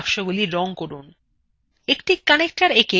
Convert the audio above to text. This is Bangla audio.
process বাক্সগুলি রং করুন